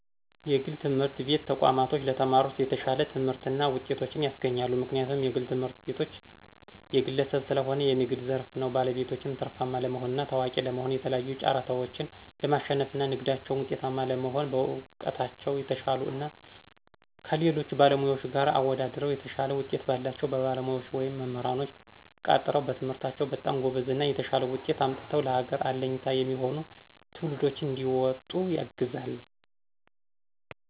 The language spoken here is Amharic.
የግል ትምህርት ቤት ተቋማቶች ለተማሪዎች የተሻለ ትምህርትና ጤቶችን ያስገኛሉ። ምክንያቱም የግል ትምህርትቤቶች የግለሰብ ሰለሆነ የንግድ ዘርፍ ነው ባለቤቶችም ትርፋማ ለመሆንና ታዋቂ ለመሆ የተለያዩ ጫራታዎችን ለማሽነፍና ንግዳቸው ውጤታማ ለመሆን በእውቀታቸው የተሻሉ እና ከሌሎች ባለሙያዎች ጋር አወደድረው የተሻለ ውጤት ባላቸው ባለሙያዎች ወይም መምራንኖች ቀጥረው በትምህርታቸው በጣም ጎበዝ እና የተሻለ ውጤት አምጥተው ለሀገር አለኝታ የሚሆኑ ትውልዶችንም እንዲወጡ ያግዛል።